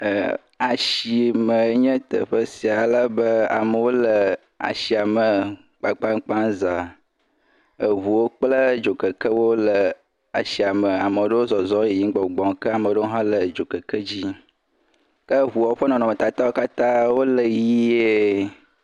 Ashimee nye teƒe sia alebe amewo le ashia me kpakpakpa za, eŋuwo kple dzokekewo le ashiame, ame ɖewo zɔzɔm yiyim gbɔgbɔm ke ame ɖewo hã le dzokeke dzi yim.